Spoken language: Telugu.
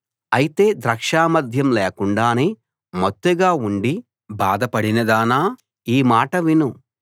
అయితే ద్రాక్షమద్యం లేకుండానే మత్తుగా ఉండి బాధపడినదానా ఈ మాట విను